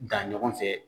Dan ɲɔgɔn fɛ